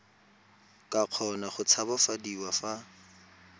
ka kgona go tshabafadiwa fa